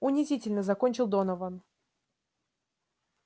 унизительно закончил донован